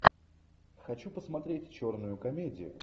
хочу посмотреть черную комедию